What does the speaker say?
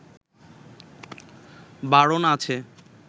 বারণ আছে